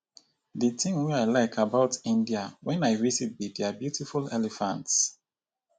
the thing wey i like about india wen i visit be their beautiful elephants